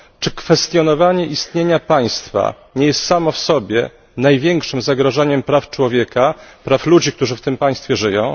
Czy kwestionowanie istnienia państwa nie jest samo w sobie największym zagrożeniem dla praw człowieka, praw ludzi, którzy w tym państwie żyją?